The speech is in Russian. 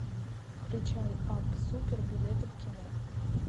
включай апп супер билеты в кино